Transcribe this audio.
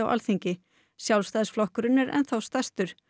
Alþingi Sjálfstæðisflokkurinn er enn þá stærstur